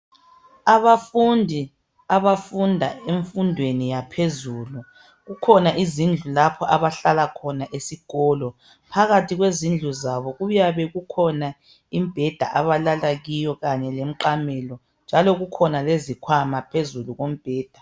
Abafundi abafunda emfundweni yaphezulu, kukhona izindlu lapho abahlala khona esikolo. Phakathi kwezindlu zabo kuyabe kukhona imbheda abalala kiyo kanye lemqamelo, njalo kukhona izikhwama phezulu kombheda.